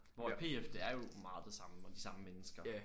Hvor P F det er jo meget det samme og de samme mennesker